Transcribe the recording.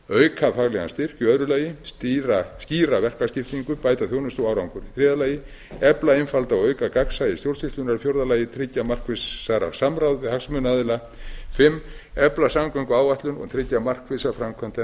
auka faglegan styrk annars skýra verkaskiptingu bæta þjónustu og árangur þriðja efla einfalda og auka gagnsæi stjórnsýslunnar fjórða tryggja markvissara samráð við hagsmunaaðila fimmta efla samgönguáætlun og tryggja markvissa framkvæmd